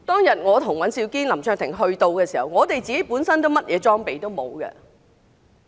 當我和尹兆堅議員及林卓廷議員抵達現場時，我們本身甚麼裝備都沒有。